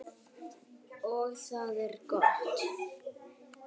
Og það er gott.